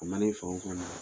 O mana e faw kumana